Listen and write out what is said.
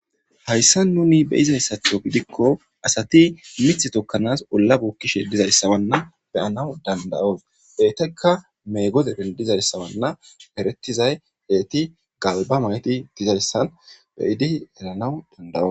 Hayssa nuni be izayssatho gidikko asati mith tokkanas olla buukkishe dizayssawanna beyanaw dandayo eetekka mee gode dendizayssawanna peretizay eeti galba mayti dizayssan beyidi elanaw dandawo.